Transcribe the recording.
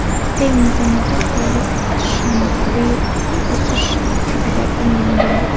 Eng muhimi, aholi o‘sishi tabiiy o‘sish hisobiga ta’minlangan.